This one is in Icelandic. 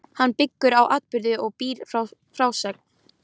Hann byggir á atburðum og býr til frásögn.